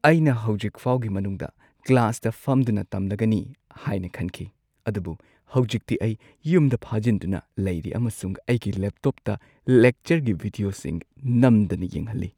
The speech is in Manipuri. ꯑꯩꯅ ꯍꯧꯖꯤꯛ ꯐꯥꯎꯒꯤ ꯃꯅꯨꯡꯗ ꯀ꯭ꯂꯥꯁꯇ ꯐꯝꯗꯨꯅ ꯇꯝꯂꯒꯅꯤ ꯍꯥꯏꯅ ꯈꯟꯈꯤ, ꯑꯗꯨꯕꯨ ꯍꯧꯖꯤꯛꯇꯤ ꯑꯩ ꯌꯨꯝꯗ ꯐꯥꯖꯤꯟꯗꯨꯅ ꯂꯩꯔꯤ ꯑꯃꯁꯨꯡ ꯑꯩꯒꯤ ꯂꯦꯞꯇꯣꯞꯇ ꯂꯦꯛꯆꯔꯒꯤ ꯚꯤꯗꯤꯑꯣꯁꯤꯡ ꯅꯝꯗꯅ ꯌꯦꯡꯍꯜꯂꯤ꯫